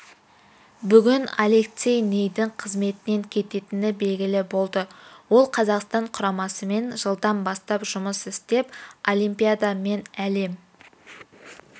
бүгін алексей нидің қызметіненкететіні белгілі болды ол қазақстан құрамасымен жылдан бастап жұмыс істеп олимпиада мен әлем